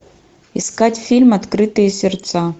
искать фильм открытые сердца